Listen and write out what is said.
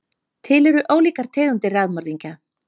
Til eru ólíkar tegundir raðmorðingja.